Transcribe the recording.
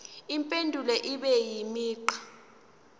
impendulo ibe imigqa